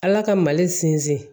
Ala ka mali sinsin